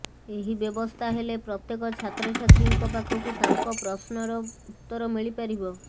ଏହି ବ୍ୟବସ୍ଥା ହେଲେ ପ୍ରତ୍ୟେକ ଛାତ୍ରଛାତ୍ରୀଙ୍କ ପାଖକୁ ତାଙ୍କ ପ୍ରଶ୍ନର ଉତ୍ତର ମିଳିପାରିବ